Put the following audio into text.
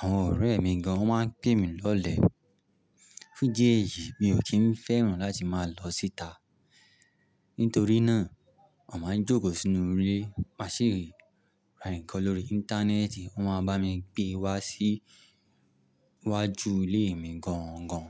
Àwọn ọ̀rẹ́ mi gan wòn máa ń pè mí lọlẹ̀. Fún díèyì, mi ò kí ń fẹ́ràn láti máa lọ síta. Nítorí náà, mà mà jókòó sínú ilé, má sì ri ra nǹkan lórí Íńtánẹ́ẹ̀tì, wọ́n máa bá mi gbé wá sí wájú ilé mi gángan.